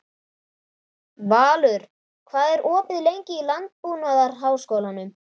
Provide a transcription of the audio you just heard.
Valur, hvað er opið lengi í Landbúnaðarháskólanum?